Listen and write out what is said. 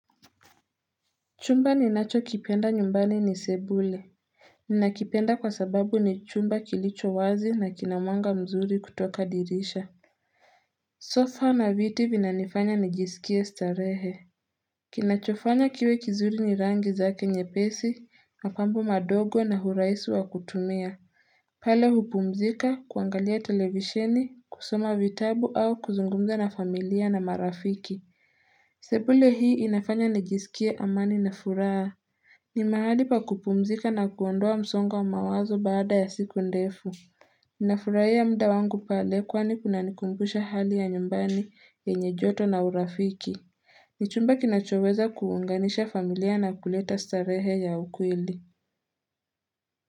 Chumba ninachokipenda nyumbani ni sebule Ninakipenda kwa sababu ni chumba kilicho wazi na kina mwanga mzuri kutoka dirisha Sofa na viti vinanifanya nijisikie starehe Kinachofanya kiwe kizuri ni rangi zake nyepesi, mapambo madogo na urahisi wa kutumia pale hupumzika, kuangalia televisheni, kusoma vitabu au kuzungumza na familia na marafiki sebule hii inafanya nijisikie amani na furaha ni mahali pa kupumzika na kuondoa msongo wa mawazo baada ya siku ndefu. Ninafurahia muda wangu pale kwani kunanikumbusha hali ya nyumbani yenye joto na urafiki. Nichumba kinachoweza kuunganisha familia na kuleta starehe ya ukweli.